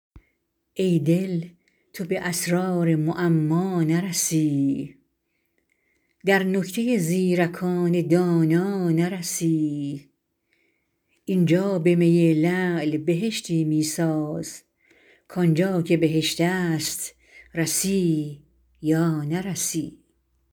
ای دل تو به اسرار معما نرسی در نکته زیرکان دانا نرسی اینجا به می لعل بهشتی می ساز کانجا که بهشت است رسی یا نرسی